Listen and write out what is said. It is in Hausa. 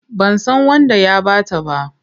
Ban san wanda ya ba ta ba.